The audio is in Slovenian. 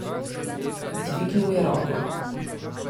Dvignil je roko.